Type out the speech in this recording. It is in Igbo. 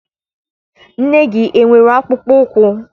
Nne gị enwere akpụkpọụkwụ?